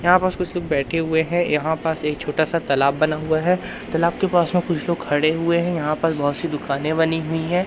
यहां बस कुछ लोग बैठे हुए हैं यहां पर एक छोटासा तालाब बना हुआ हैं तालाब के पास में कुछ लोग खड़े हुए हैं यहां पर बहोत सी दुकानें बनी हुईं हैं।